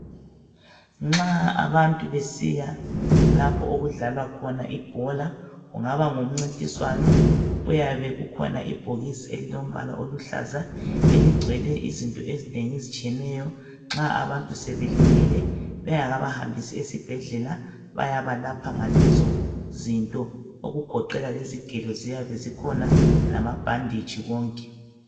Nxa abantu besiya lapho okudlalwa khona ibhola .Kungaba ngumncintiswano ,kuyabe kukhona ibhokisi elilombala oluhlaza .Eligcwele izinto ezinengi ezitshiyeneyo ,nxa abantu sebelimele bengakabahambisi esibhedlela, bayabalapha ngalezo zinto. Okugoqela lezigelo ziyabe zikhona ,lamabhanditshi konke.